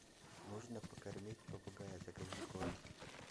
нужно покормить попугая закажи корм